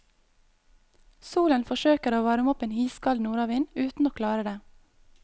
Solen forsøker å varme opp en iskald nordavind, uten å klare det.